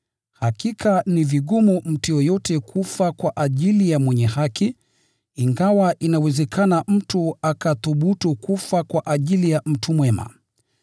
Hakika, ni vigumu mtu yeyote kufa kwa ajili ya mwenye haki, ingawa inawezekana mtu akathubutu kufa kwa ajili ya mtu mwema.